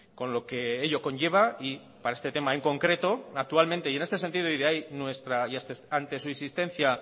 con lo que ello conlleva y para este tema en concreto actualmente y en este sentido y ante su insistencia